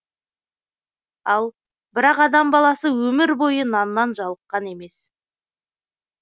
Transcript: ал бірақ адам баласы өмір бойы наннан жалыққан емес